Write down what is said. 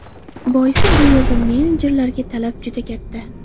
Boisi bu yerda menejerlarga talab juda katta.